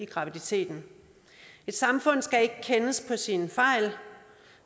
graviditeten et samfund skal ikke kendes på sine fejl